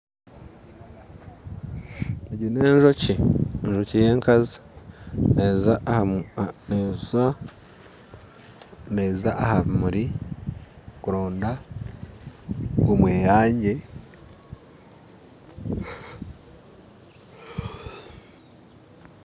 Egyo n'enjoki, enjoki y'enkazi neeza aha bimuri kuronda omweyangye